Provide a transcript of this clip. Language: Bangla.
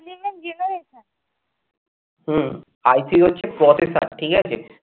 হম I three হচ্ছে processor ঠিক আছে?